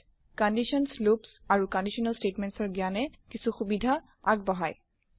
conditions loops আৰু conditional statements ৰ জ্ঞানে কিছু সুবিধা আগবঢ়াই